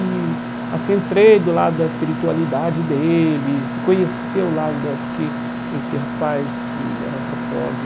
E assim entrei do lado da espiritualidade deles, conheci o lado da, porque esse rapaz que era antropólogo,